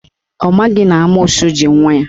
Ọ maghị na amoosu ji nwa ya.